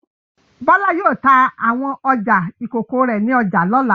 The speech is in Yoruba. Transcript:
Bọ́lá yóò ta àwọn ọjà ìkókó rẹ̀ ní ọjà lọ́la.